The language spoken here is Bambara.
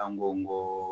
An ko n ko